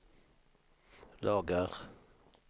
lagar